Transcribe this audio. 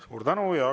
Suur tänu!